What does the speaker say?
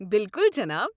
بِلکُل، جناب۔